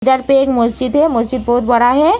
इधर पे एक मस्जिद है मस्जिद बहोत बड़ा है।